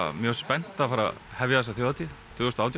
mjög spennt að fara byrja þessa þjóðhátíð tvö þúsund og átján